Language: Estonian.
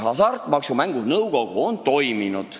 Hasartmängumaksu Nõukogu on toiminud.